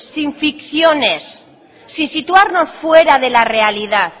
sin ficciones sin situarnos fuera de la realidad